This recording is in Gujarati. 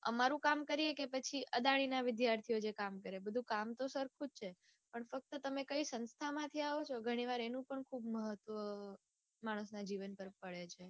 અમારું કામ કરીયે કે પછી અદાણીના વિદ્યાર્થીઓ જે કામ કરે બધું કામ તો સરખું જ છે. પણ ફક્ત તમે કઈ સંસ્થામાંથી આવો છો ઘણી વાર એનું પણ ખુબ મહત્વ માણસના જીવન તરફ વળે છે.